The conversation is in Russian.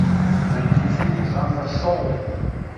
найти фильм жанра шоу